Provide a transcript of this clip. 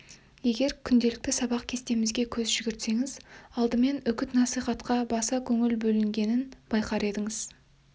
егер күнделікті сабақ кестемізге көз жүгіртсеңіз алдымен үгіт-насихатқа баса көңіл бөлінгенін байқар едіңіз